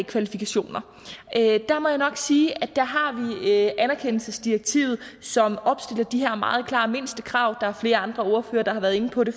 kvalifikationer må jeg nok sige at der har vi anerkendelsesdirektivet som opstiller de her meget klare mindstekrav der er flere andre ordførere der har været inde på det